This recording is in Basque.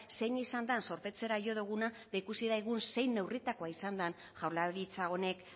zein izan den zorpetzera jo duguna eta ikusi dugu zein neurritakoa izan den jaurlaritza honek